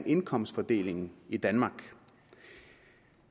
indkomstfordelingen i danmark